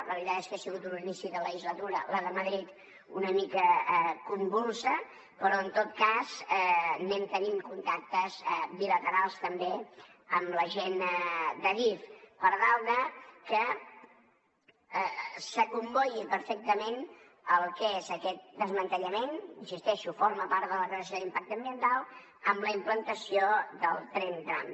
la veritat és que ha sigut un inici de legislatura la de madrid una mica convulsa però en tot cas anem tenint contactes bilaterals també amb la gent d’adif per tal de que s’acomboï perfectament el que és aquest desmantellament hi insisteixo forma part de la declaració d’impacte ambiental amb la implantació del tren tram